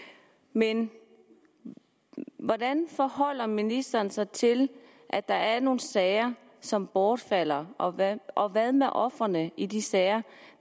men hvordan forholder ministeren sig til at der er nogle sager som bortfalder og hvad og hvad med ofrene i de sager